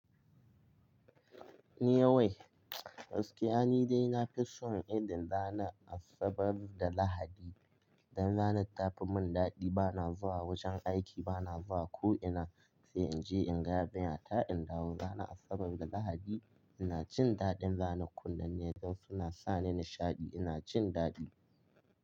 Ni yau wai, gaskiya ni dai nafi son idin ranar Asabar da Lahadi. Dan ranar tafi mun daɗi, bana zuwa wajen aiki, bana zuwa ko ina. Sai in je in ga binyata in dawo. Ranar Asabar da Lahadi ina cin daɗin ranar. Kundanne da suna sa ni nishaɗi ina cin daɗi.